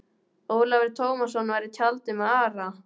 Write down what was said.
Ólafur Tómasson var í tjaldi með Ara.